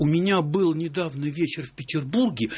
у меня был недавно вечер в петербурге